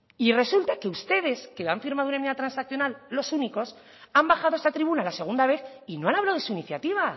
y resulta que ustedes que han firmado hoy una enmienda transaccional los únicos han bajado a esta tribuna la segunda vez y no han hablado de su iniciativa